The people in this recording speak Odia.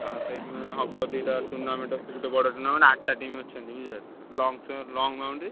ହଁ ସେଇଦିନ ହବ ଦିଟା tournament ଆଛି ଗୋଟେ ବଡ tournament ଆଠଟା team ଅଛନ୍ତି ବୁଝିଲ କି long boundary ।